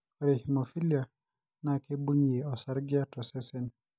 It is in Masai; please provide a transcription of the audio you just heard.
ore hemophilia naa keibungie osarge to sesen